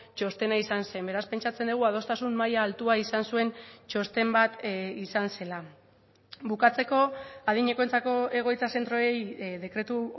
txostena izan zen beraz pentsatzen dugu adostasun maila altua izan zuen txosten bat izan zela bukatzeko adinekoentzako egoitza zentroei dekretu